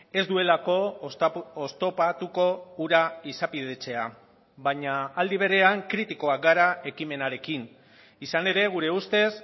ez duelako oztopatuko hura izapidetzea baina aldi berean kritikoak gara ekimenarekin izan ere gure ustez